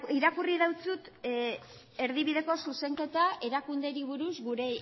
irakurri dizut erdibideko zuzenketa erakundeei buruz gure